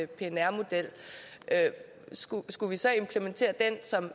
pnr model skulle skulle vi så implementere den som